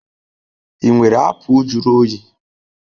Ị nwere apụl juru oyi?